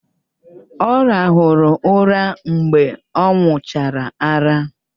Ọ rahụrụ ụra mgbe ọ ṅụchara ara